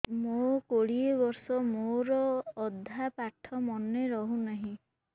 ମୋ କୋଡ଼ିଏ ବର୍ଷ ମୋର ଅଧା ପାଠ ମନେ ରହୁନାହିଁ